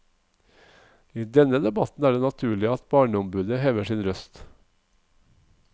I denne debatten er det naturlig at barneombudet hever sin røst.